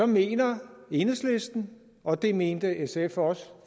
mener enhedslisten og det mente sf også